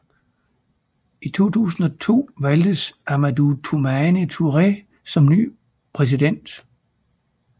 I 2002 valgtes Amadou Toumani Touré som ny præsident